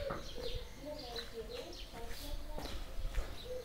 первая серия татлер раши